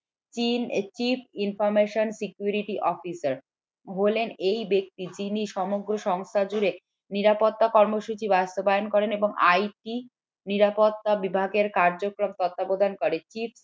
chief chin chief information security officer হলেন এই ব্যক্তি যিনি সমগ্র সংস্থা জুড়ে নিরাপত্তা কর্মসূচি বাস্তবায়ন করেন এবং IT নিরাপত্তা বিভাগের কার্যকে তত্ত্বাবধান করেন।